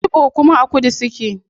Igbo kuma a kudu suke